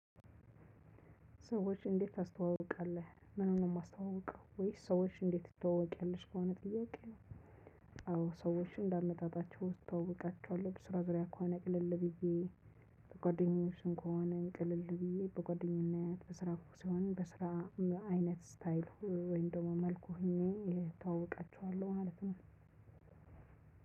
ሰዎች እንዴት ታስተዋውቃለህ ምኑን ነው የማስተዋውቀው ወይስ ሰዎች እንዴት ትተዋወቂያለሽ? ከሆነ ጥያቄ። አዎ ሰዎችን እንደመጣጣቸው እስተዋውቃቸዋለሁ። ከስራ ጋር ከሆነ ቅልል ብዬ። በጓደኞች ከሆነ ቅልል ብዬ በጓደኝነት በስራ ሲሆን በስራ አይነት ስታይል ወይም ደግሞ መልኩ ሆኜ እተዋወቃቸዋለሁ ማለት ነው።